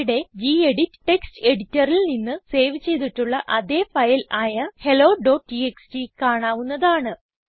ഇവിടെ gedit text എഡിറ്ററിൽ നിന്ന് സേവ് ചെയ്തിട്ടുള്ള അതേ ഫയൽ ആയ hellotxtകാണാവുന്നതാണ്